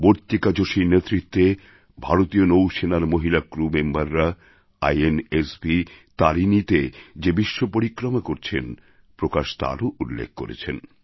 বর্তিকা যোশীর নেতৃত্বে ভারতীয় নৌসেনার মহিলা ক্রু মেম্বররা ইন্সভ Tariniতে যে বিশ্বপরিক্রমা করছেন প্রকাশ তারও উল্লেখ করেছেন